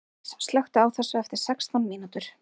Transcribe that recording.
Svandís, slökktu á þessu eftir sextán mínútur.